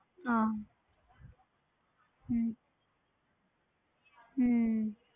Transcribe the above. ਹਾਂ ਹੁੰ ਹਾਂ